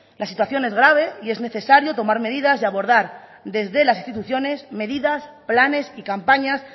la situación es grave y es necesario tomar medidas y abordar desde las instituciones medidas planes y campañas